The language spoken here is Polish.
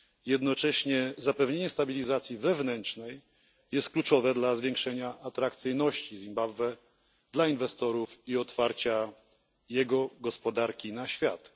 Jednocześnie zapewnienie stabilizacji wewnętrznej jest kluczowe dla zwiększenia atrakcyjności Zimbabwe dla inwestorów i otwarcia jego gospodarki na świat.